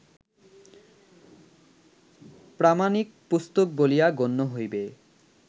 প্রামাণিক পুস্তক বলিয়া গণ্য হইবে